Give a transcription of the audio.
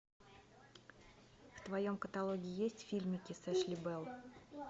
в твоем каталоге есть фильмики с эшли белл